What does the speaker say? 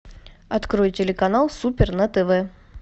открой телеканал супер на тв